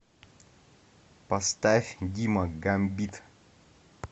поставь дима гамбит